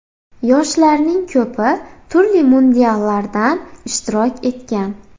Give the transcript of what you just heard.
Yoshlarning ko‘pi turli mundiallardan ishtirok etgan”.